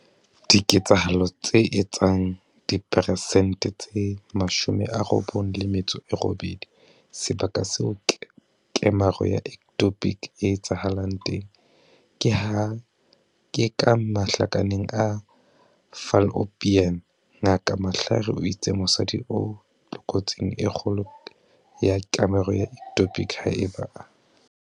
Diketsahalong tse etsang diperesente tse 98, sebaka seo kemaro ya ectopic e etsahalang teng ke ka mahlakaneng a fallopian. Ngaka Mhlari o itse mosadi o tlokotsing e kgolo ya kemaro ya ectopic haeba a.